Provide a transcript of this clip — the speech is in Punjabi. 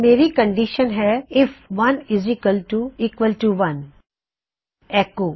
ਮੇਰੀ ਕੰਨਡੀਸ਼ਨ ਹੈ ਆਈਐਫ 11 ਐੱਕੋ